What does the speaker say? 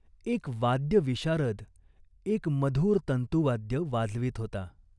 एक वाद्यविशारद एक मधुर तंतुवाद्य वाजवीत होता.